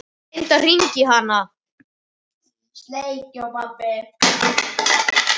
Ég reyndi að hringja í hana.